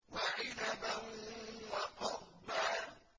وَعِنَبًا وَقَضْبًا